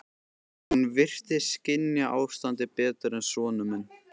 Hún virtist skynja ástandið betur en sonur minn.